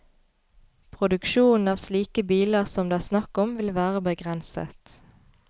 Produksjonen av slike biler som det er snakk om vil være begrenset.